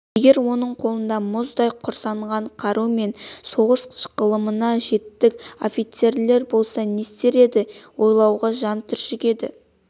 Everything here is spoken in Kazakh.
егер оның қолында мұздай құрсанған қару мен соғыс ғылымына жетік офицерлер болса не істер еді ойлауға жан түршігеді